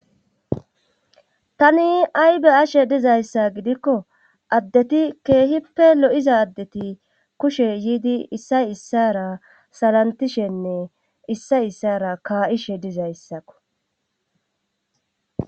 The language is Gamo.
tani aybe'ashe dizayssa gidikko addeti keehippe lo7iza addeti kushe yiidi issay issara salantishenne issay issara kaa7ishe dizayssakko